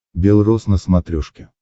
бел роз на смотрешке